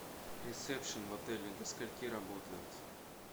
ресепшн в отеле до скольки работает